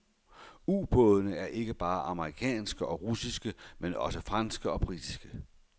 Ubådene er ikke bare amerikanske og russiske, men også franske og britiske.